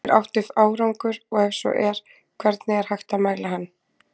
Er átt við árangur, og ef svo er, hvernig er hægt að mæla hann?